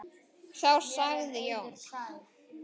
Þá sagði Jón